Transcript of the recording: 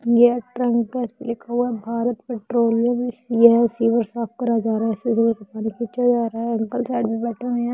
यह ट्रेमपेस्ट लिखा हुआ है भारत पेट्रोलियम यह सीवर साफ करा जा रहा है खींचा जा रहा है अंकल साइड में बैठे हुए हैं।